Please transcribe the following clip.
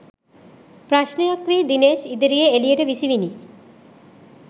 ප්‍රශ්නයක් වී දිනේෂ් ඉදිරියේ එලියට විසිවිණි